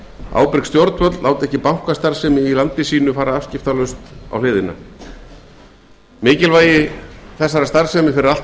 ábyrg stjórnvöld láta ekki bankastarfsemi í sínu landi fara afskiptalaust á hliðina mikilvægi hennar fyrir allt